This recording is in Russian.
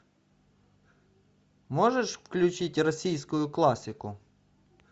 можешь включить российскую классику